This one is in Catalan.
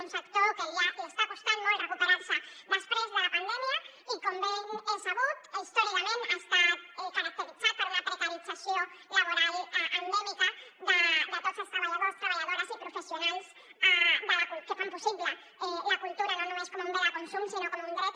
un sector que li està costant molt recuperar se després de la pandèmia i com bé és sabut històricament ha estat caracteritzat per una precarització laboral endèmica de tots els treballadors treballadores i professionals que fan possible la cultura no només com un bé de consum sinó com un dret